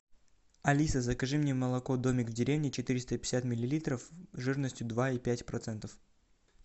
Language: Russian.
алиса закажи мне молоко домик в деревне четыреста пятьдесят миллилитров жирностью два и пять процентов